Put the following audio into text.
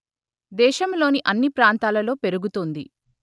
దేశంలోని అన్ని ప్రాంతాలలో పెరుగుతుంది